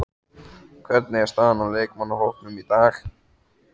Hvernig er staðan á leikmannahópnum í dag?